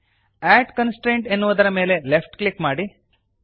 ಅಡ್ constraint ಎನ್ನುವುದರ ಮೇಲೆ left click ಮಾಡಿರಿ